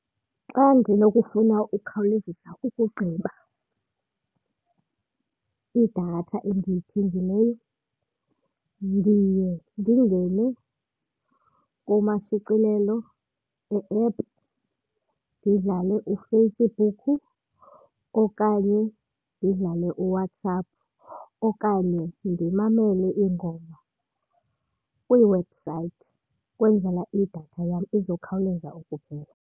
Xa ndinokufuna ukhawulezisa ukugqiba idatha endiyithengileyo ndiye ndingene kumashicilelo e-app ndidlale uFacebook okanye ndidlale uWhatsApp, okanye ndimamele iingoma kwiiwebhusayithi ukwenzela idatha yam izokhawuleza ukuphela.